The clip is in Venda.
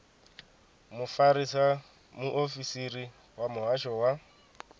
mufarisa muofisiri wa muhasho wa